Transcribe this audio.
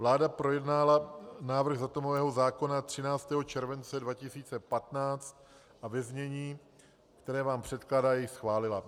Vláda projednala návrh atomového zákona 13. července 2015 a ve znění, které vám předkládá, jej schválila.